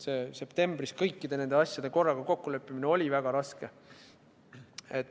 Septembris oli kõiki neid asju korraga kokku leppida väga raske.